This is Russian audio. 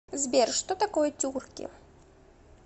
сбер что такое тюрки